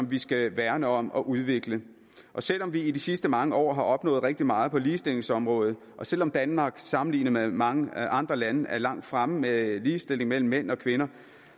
vi skal værne om og udvikle selv om vi i de sidste mange år har opnået rigtig meget på ligestillingsområdet og selv om danmark sammenlignet med mange andre lande er langt fremme med ligestilling mellem mænd og kvinder